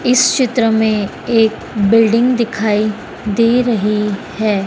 इस चित्र में एक बिल्डिंग दिखाई दे रही है।